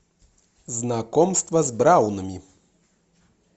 знакомство с браунами